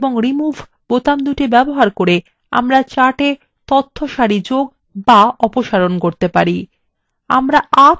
add এবং remove বোতাম ব্যবহার করে আমাদের chart থেকে তথ্য সারি যোগ অথবা অপসারণ করা যেতে পারে